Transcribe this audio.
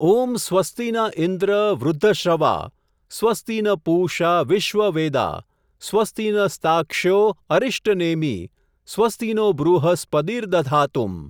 ઓમ, સ્વસ્તિના ઈન્દ્ર, વૃઘ્ધશ્રવા, સ્વસ્તિ ન પૂષા, વિશ્વવેદા, સ્વસ્તિ ન સ્તાક્ષ્યો, અરિષ્ટનેમિ, સ્વસ્તિનો, બૃહસ્પતિર્દધાતું!.